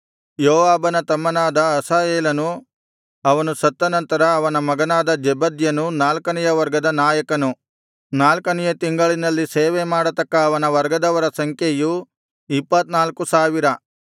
ಯೋವಾಬನ ತಮ್ಮನಾದ ಅಸಾಹೇಲನು ಅವನು ಸತ್ತ ನಂತರ ಅವನ ಮಗನಾದ ಜೆಬದ್ಯನು ನಾಲ್ಕನೆಯ ವರ್ಗದ ನಾಯಕನು ನಾಲ್ಕನೆಯ ತಿಂಗಳಿನಲ್ಲಿ ಸೇವೆಮಾಡತಕ್ಕ ಅವನ ವರ್ಗದವರ ಸಂಖ್ಯೆಯು ಇಪ್ಪತ್ತ್ನಾಲ್ಕು ಸಾವಿರ